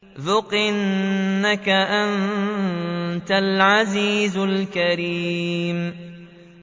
ذُقْ إِنَّكَ أَنتَ الْعَزِيزُ الْكَرِيمُ